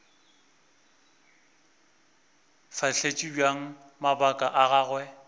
fahletše bjang mabaka a gagwe